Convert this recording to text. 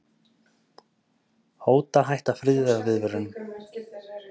Hóta að hætta friðarviðræðum